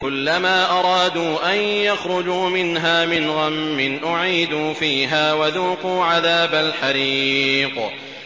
كُلَّمَا أَرَادُوا أَن يَخْرُجُوا مِنْهَا مِنْ غَمٍّ أُعِيدُوا فِيهَا وَذُوقُوا عَذَابَ الْحَرِيقِ